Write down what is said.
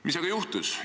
Mis on aga juhtunud?